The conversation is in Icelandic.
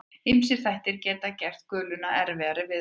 Ýmsir þættir geta gert guluna erfiðari viðfangs.